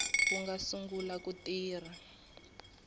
wu nga sungula ku tirha